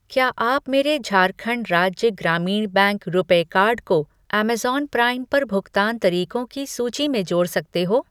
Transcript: क्या आप मेरे झारखण्ड राज्य ग्रामीण बैंक रुपे कार्ड को अमेज़न प्राइम पर भुगतान तरीको की सूची में जोड़ सकते हो ?